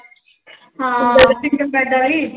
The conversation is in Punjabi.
ਹਾਂ single bed ਵਾਲੀ।